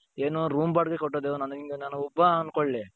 ಏನು room ಬಾಡಿಗೆ ಕಟ್ಟೋದು ನಾನೆಂಗೆ ನಾನೊಬ್ಬ ಅನ್ಕೊಳ್ಳಿ.